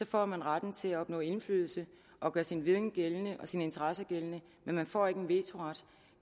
får man retten til at opnå indflydelse og gøre sin viden og sine interesser gældende men man får ikke en vetoret